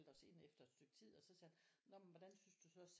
Os ind efter et stykke tid og så sagde han nå men hvordan synes du så